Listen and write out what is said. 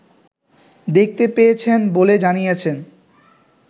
দেখতে পেয়েছেন বলে জানিয়েছেন